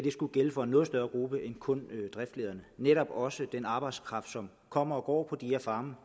skulle gælde for en noget større gruppe end kun driftslederne netop også den arbejdskraft som kommer og går på de her farme